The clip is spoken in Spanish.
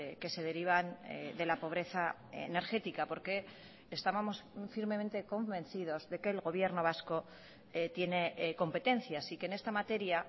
que se derivan de la pobreza energética porque estábamos firmemente convencidos de que el gobierno vasco tiene competencias y que en esta materia